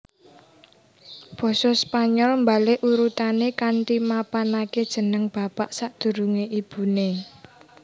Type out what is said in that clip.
Basa Spanyol mbalik urutané kanthi mapanaké jeneng bapak sadurungé ibuné